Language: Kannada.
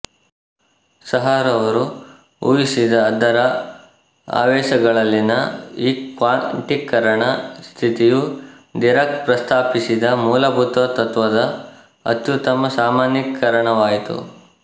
ಸಹಾರವರು ಊಹಿಸಿದ ಅದರ ಆವೇಶಗಳಲ್ಲಿನ ಈ ಕ್ವಾಂಟೀಕರಣ ಸ್ಥಿತಿಯು ದಿರಾಕ್ ಪ್ರಸ್ತಾಪಿಸಿದ ಮೂಲಭೂತ ತತ್ತ್ವದ ಅತ್ಯುತ್ತಮ ಸಾಮಾನ್ಯೀಕರಣವಾಯಿತು